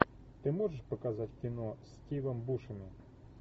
ты можешь показать кино с стивом бушеми